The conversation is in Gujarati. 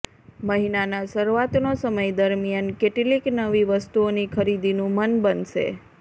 મહિનાના શરૂઆતનો સમય દરમિયાન કેટલીક નવી વસ્તુઓની ખરીદીનુ મન બનશે